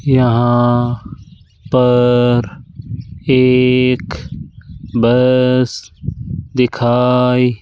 यहां पर एक बस दिखाई --